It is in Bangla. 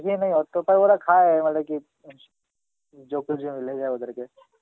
অতটা ওরা খায় হলে কি ওদেরকে